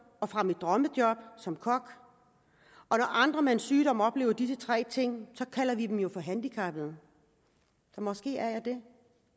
og fra mit drømmejob som kok når andre med en sygdom oplever disse tre ting kalder vi dem jo for handicappede så måske er jeg det